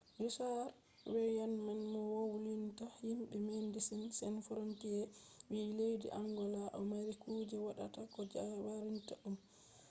richad veyeman mo wolwinta himɓe medesin san frontiye wi: leddi angola ɗo mari kuje woɗaka je warinta ɗum